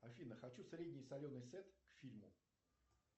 афина хочу средний соленый сет к фильму